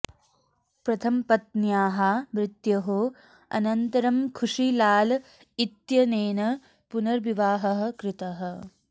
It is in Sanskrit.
प्रथमपत्न्याः मृत्योः अनन्तरं खुशी लाल इत्यनेन पुनर्विवाहः कृतः